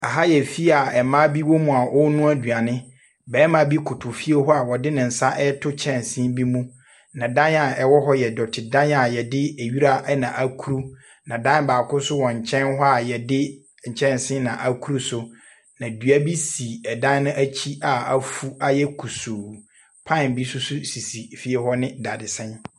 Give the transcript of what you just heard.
Aha yɛ fie a mmaa bi wɔ mu a wɔrenoa aduane. Barima b koto fie hɔ a ɔde ne nsa reto kyɛnsee bi mu. Na dan a ɛwɔ hɔ yɛ dɔtedan a yɛde nwira na akuru. Na dan baako nso wɔ nkyɛn a yɛde nkyɛnsee na akuru so, na dua bi si dan no akyi a afu ayɛ kɔsuu. Pan bi bi si fie hɔ ne dadesɛn.